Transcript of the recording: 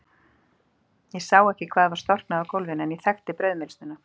Ég sá ekki hvað var storknað á gólfinu, en ég þekkti brauðmylsnuna.